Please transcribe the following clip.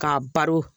K'a baro